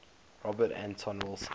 robert anton wilson